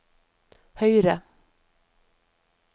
høyre